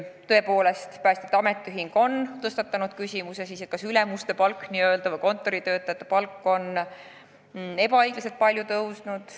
Tõepoolest, päästjate ametiühing on tõstatanud küsimuse, kas ülemuste või üldse kontoritöötajate palk on ebaõiglaselt palju tõusnud.